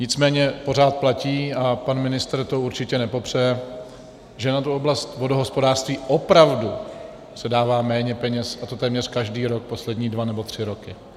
Nicméně pořád platí, a pan ministr to určitě nepopře, že na tu oblast vodohospodářství opravdu se dává méně peněz, a to téměř každý rok poslední dva nebo tři roky.